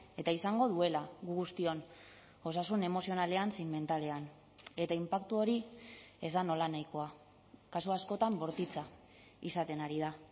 eta izango duela guztion osasun emozionalean zein mentalean eta inpaktu hori ez da nolanahikoa kasu askotan bortitza izaten ari da